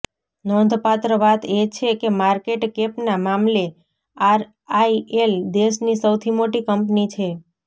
નોંધપાત્ર વાત એ છે કે માર્કેટ કેપના મામલે આરઆઈએલ દેશની સૌથી મોટી કંપની છે